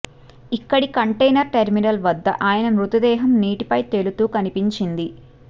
ఇక్కడి container terminal వద్ద ఆయన మృతదేహం నీటిపై తేలుతూ కనిపించింది